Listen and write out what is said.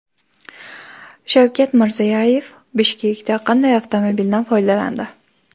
Shavkat Mirziyoyev Bishkekda qanday avtomobildan foydalandi?